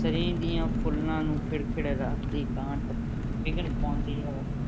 ਸ਼ਰੀਂਹ ਦੀਆਂ ਫੁੱਲਾਂ ਨੂੰ ਖਿੜ-ਖਿੜ ਰਾਤ ਦੀ ਇਕਾਂਤ ਵਿਘਨ ਪਾਉਂਦੀ ਹੈ।